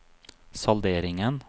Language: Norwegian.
salderingen